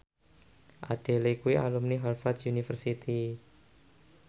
Adele kuwi alumni Harvard university